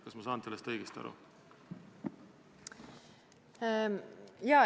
Kas ma sain sellest õigesti aru?